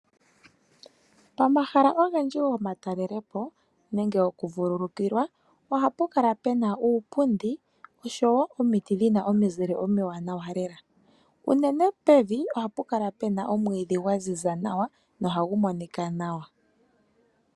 Pomahala ogendji gomatalelepo nenge gomavululukilo ohapu kala pena uupundi osho wo omiti dhina omuzile omiwanawa lela, uunene pevi ohapu kala omwidhi gwa ziza nawa na ohagu monika nawa.